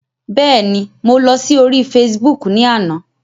Bẹ́ẹ̀ ni, mo lọ sí orí Facebook ni àná.